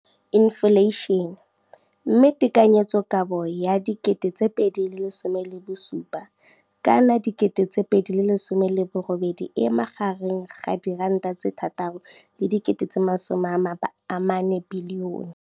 Infleišene, mme tekanyetsokabo ya 2017, 18, e magareng ga R6.4 bilione.